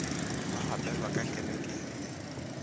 ba gapelwa ka kerekeng le